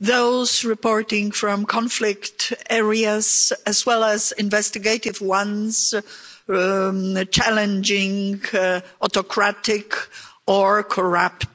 those reporting from conflict areas, as well as investigative ones challenging autocratic or corrupt